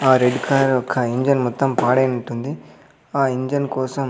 ఆ red car యొక్క engine మొత్తం పాడైనట్టుంది ఆ ఇంజన్ కోసం--